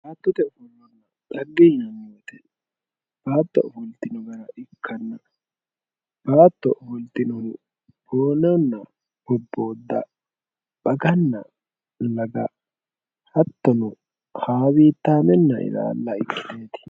battote ofollonna dhagge yinanni woyte baatto ofolitinonna baatto ofoltinowi boonnanna bobbooda baganna laga hattono hawiitameenna ilaala ikkiteeti.